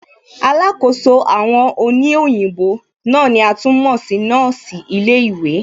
Alákòóso àwọn òní òyìnbó náà ni a tún mọ̀ sí nọ́ọ̀sì ilé ìwé